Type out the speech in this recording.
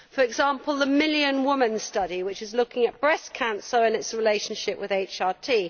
For example, the Million Women Study, which is looking at breast cancer and its relationship with HRT.